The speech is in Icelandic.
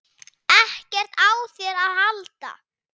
EKKERT Á ÞÉR AÐ HALDA!